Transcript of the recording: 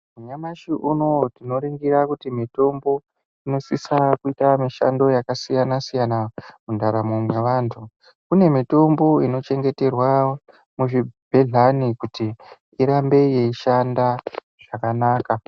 Nyamashi unouyu tinoningira kuti mitombo inosisa kuita mitambo yakasiyana-siyana mundaramo mwevantu. Kune mitombo inochengeterwa muzvibhedhlani kuti irambe yeishanda zvakanaka.